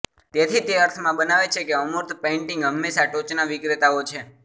તેથી તે અર્થમાં બનાવે છે કે અમૂર્ત પેઇન્ટિંગ હંમેશા ટોચના વિક્રેતાઓ છે